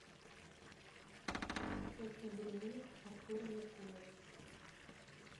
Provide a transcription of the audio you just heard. тест на беременность артура меркулова